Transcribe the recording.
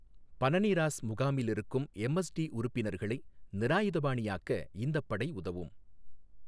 பனனிராஸ் முகாமில் இருக்கும் எம்எஸ்டி உறுப்பினர்களை நிராயுதபாணியாக்க இந்தப் படை உதவும்.